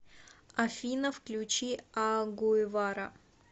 афина включи а гуевара